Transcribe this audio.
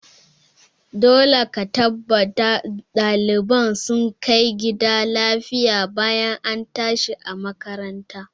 Dole ka tabbata ɗaliban sun kai gida lafiya bayan an tashi makaranta!